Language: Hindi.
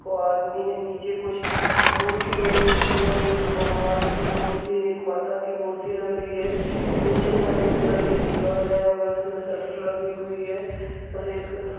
को आदमी है नीचे कुछ मूर्ति बनी हुई है एक भगवान की मूर्ति एक माता की मूर्ति लग रही है पीछे सफेद कलर की दीवाल है और उसमे शटर लगी हुई है सफेद कलर--